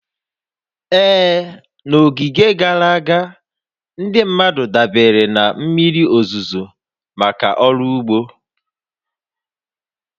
Ee, n'oge gara aga, ndị mmadụ dabeere na mmiri òzùzò maka ọrụ úgbó